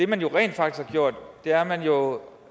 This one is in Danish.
man jo rent faktisk har gjort er at man over